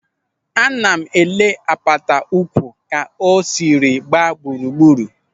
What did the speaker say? Ana m ele apata ụkwụ ka o siri gbaa gburugburu.